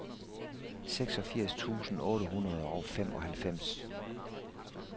seksogfirs tusind otte hundrede og femoghalvfems